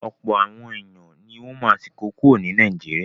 Ọ̀pọ̀ àwọn èèyàn ní wọ́n ma sì kó kúrò ní Naijiria